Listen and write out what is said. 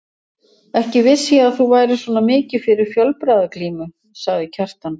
Ekki vissi ég að þú værir svona mikið fyrir fjölbragðaglímu, sagði Kjartan.